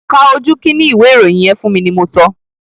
Ka ojú kínní ìwé ìròyìn yẹn fún mi ni mo sọ!